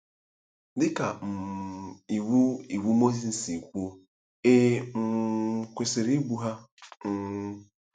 Dị ka um Iwu Iwu Mozis si kwuo, e um kwesịrị igbu ha um.